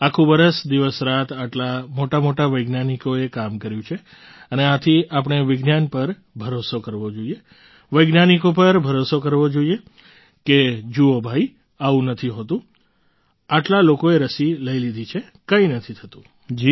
આખું વરસ દિવસરાત આટલા મોટામોટા વૈજ્ઞાનિકોએ કામ કર્યું છે અને આથી આપણે વિજ્ઞાન પર ભરોસો કરવો જોઈએ વૈજ્ઞાનિકો પર ભરોસો કરવો જોઈએ કે જુઓ ભાઈ આવું નથી હોતું આટલા લોકોએ રસી લઈ લીધી છે કંઈ નથી થતું